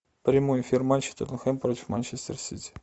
прямой эфир матча тоттенхэм против манчестер сити